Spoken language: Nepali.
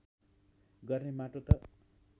गर्ने माटो त